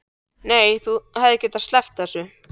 Nei, en þú hefðir getað sleppt þessu.